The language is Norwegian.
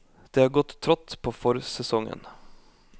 Det har gått trått på forsesongen.